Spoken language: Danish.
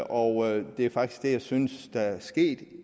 og det er faktisk det jeg synes der er sket